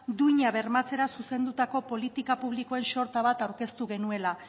duina bermatzera zuzendutako politika publikoen sorta bat aurkeztu genuela